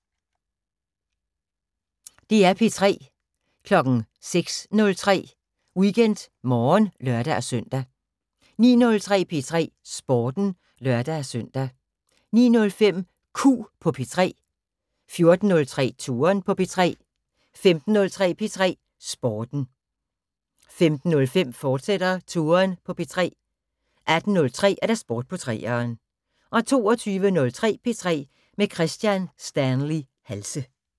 06:03: WeekendMorgen (lør-søn) 09:03: P3 Sporten (lør-søn) 09:05: Q på P3 14:03: Touren på P3 15:03: P3 Sporten 15:05: Touren på P3, fortsat 18:03: Sport på 3'eren 22:03: P3 med Kristian Stanley Halse